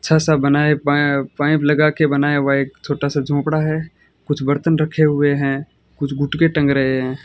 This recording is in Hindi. अच्छा सा बनाएं पाय पाइप लगा के बनाया हुआ एक छोटा सा झोपड़ा है कुछ बर्तन रखे हुए हैं कुछ गुटके टंग रहे हैं।